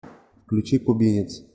включи кубинец